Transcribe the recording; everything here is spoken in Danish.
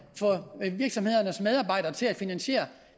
en virksomheds medarbejdere til at finansiere